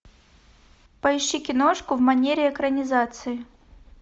поищи киношку в манере экранизации